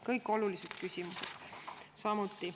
Kõik olulised küsimused!